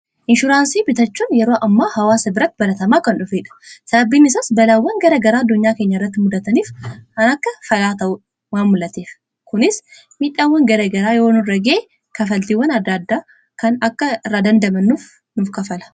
Inshuraansii bitachuun yeroo ammaa hawaasa biratti baratamaa kan dhufeedha, sababbiin isaas balaawwan gara garaa addunyaa kenya irratti mudataniif kan akka falaa ta'uun waan mul'ateef kunis midhaawwan gara garaa yoo nurra gahee kafaltiwwan adda addaa kan akka irraa dandamannuuf nuuf kafala.